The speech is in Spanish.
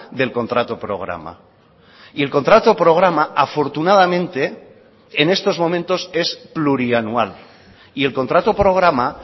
del contrato programa y el contrato programa afortunadamente en estos momentos es plurianual y el contrato programa